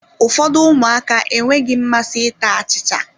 Ụfọdụ ụmụaka enweghị mmasị ịta achịcha